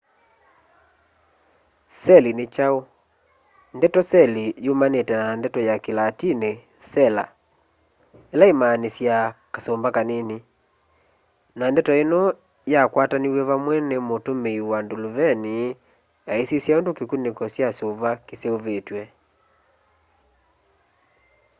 seli ni kyau ndeto seli yumanite na ndeto ya kilatini sela ila imaanisyaa kasumba kanini na ndeto ino yakwataniw'e vamwe ni mutumii wa nduluvini aisisya undu kikuniko kya suva kiseuvitwe